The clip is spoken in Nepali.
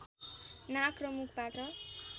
नाक र मुखबाट